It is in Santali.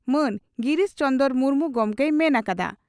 ᱢᱟᱹᱱ ᱜᱤᱨᱤᱥ ᱪᱚᱱᱫᱚᱨ ᱢᱩᱨᱢᱩ ᱜᱚᱢᱠᱮᱭ ᱢᱮᱱ ᱠᱟᱫᱟ ᱾